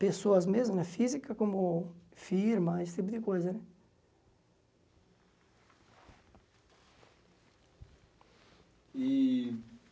Pessoas mesmo, física como firma, esse tipo de coisa né. E